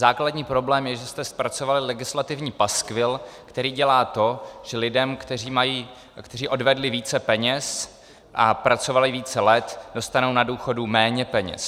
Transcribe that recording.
Základní problém je, že jste zpracovali legislativní paskvil, který dělá to, že lidé, kteří odvedli více peněz a pracovali více let, dostanou na důchodu méně peněz.